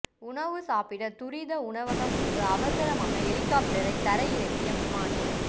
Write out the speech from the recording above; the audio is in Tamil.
உணவு சாப்பிட துரித உணவகம் முன்பு அவசரமாக ஹெலிகாப்டரை தரை இறக்கிய விமானி